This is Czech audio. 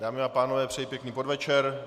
Dámy a pánové, přeji pěkný podvečer.